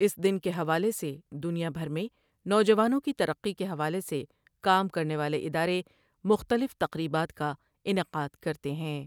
اس دن کے حوالے سے دنیا بھر میں نوجوانوں کی ترقی کے حوالے سے کام کرنے والے ادارے مختلف تقریبات کا انعقاد کرتے ہیں ۔